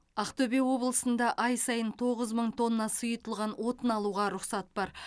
ақтөбе облысында ай сайын тоғыз мың тонна сұйытылған отын алуға рұқсат бар